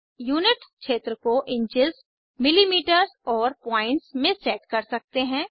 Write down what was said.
unit क्षेत्र को inches millimetre और पॉइंट्स में सेट कर सकते हैं